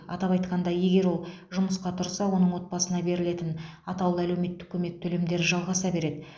атап айтқанда егер ол жұмысқа тұрса оның отбасына берілетін атаулы әлеуметтік көмек төлемдері жалғаса береді